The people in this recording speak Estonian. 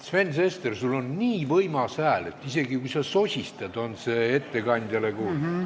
Sven Sester, sul on nii võimas hääl, et isegi kui sa sosistad, on see ettekandjale kuulda.